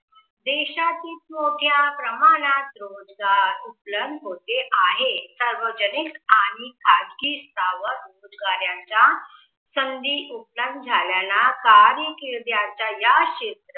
देशात खूप मोठ्या प्रमाणात रोजगार उपलब्ध होते आहे. सार्वजनिक आणि खाजगी सावध रोजगाऱ्याचा संधी उपलब्ध झाल्याना कार्याकीर्दी या क्षे